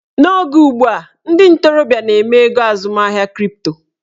N'oge ugbua, ndị ntorobịa na-eme ego azụmahịa kripto